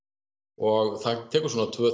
og það tekur svona tvö